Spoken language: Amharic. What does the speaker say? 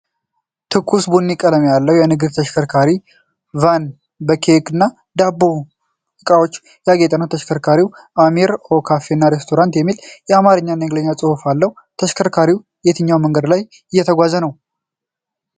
ትኩስ ቡኒ ቀለም ያለው የንግድ ተሽከርካሪ (ቫን) በኬክና ዳቦ ሥዕሎች ያጌጠ ነው። ተሽከርካሪው “Amir**o** Cafe & Restaurant” የሚል የአማርኛና የእንግሊዝኛ ጽሑፍ አለው። ተሽከርካሪው በየትኛው መንገድ እየተጓዘ ነው?